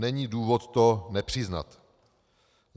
Není důvod to nepřiznat.